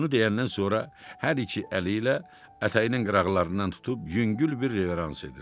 Bunu deyəndən sonra hər iki əli ilə ətəyinin qıraqlarından tutub yüngül bir reverans edir.